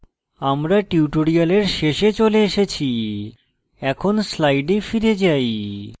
আমরা tutorial শেষে চলে এসেছি এখন slide ফিরে যাই